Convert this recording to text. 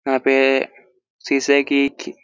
यहाँ पे शीशे की खी--